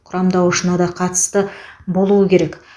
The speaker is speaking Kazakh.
құрамдауышына да қатысты болуы керек